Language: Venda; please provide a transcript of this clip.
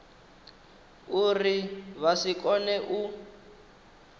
uri vha si kone u